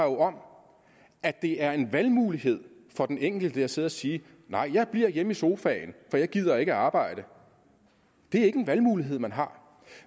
om at det er en valgmulighed for den enkelte at sidde og sige nej jeg bliver hjemme i sofaen for jeg gider ikke arbejde det er ikke en valgmulighed man har